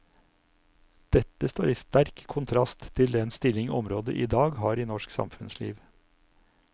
Dette står i sterk kontrast til den stilling området i dag har i norsk samfunnsliv.